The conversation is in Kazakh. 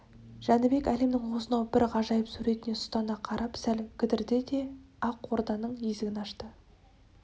жәнібек әлемнің осынау бір ғажайып суретіне сұстана қарап сәл кідірді де ақ орданың есігін ашты